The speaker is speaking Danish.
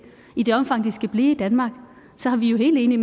i det omfang de skal blive i danmark er vi jo helt enige